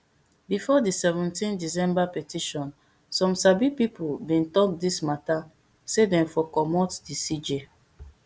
bifor di seventeen december petition some sabi pipo bin tok dis mata say dem for comot di cj